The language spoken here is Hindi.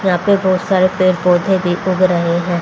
यहां पर बहुत सारे पेड़ पौधे रहे हैं।